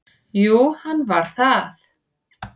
Jú, hann var það.